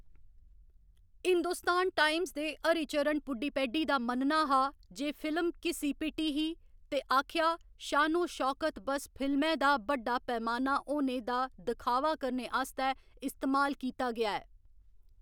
Hindustan Times दे हरिचरण पुडीपेड्डी दा मन्नना हा जे फिल्म घिस्सी पिट्टी ही ते आखेआ, शानो शौकत बस फिल्मै दा बड्डा पैमाना होने दा दखावा करने आस्तै इस्तेमाल कीता गेआ ऐ।